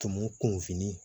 Tɔmɔ kun fini